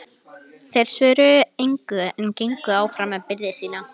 Þeir svöruðu engu en gengu áfram með byrði sína.